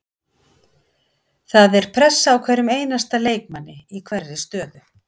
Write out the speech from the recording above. Það er pressa á hverjum einasta leikmanni í hverri stöðu.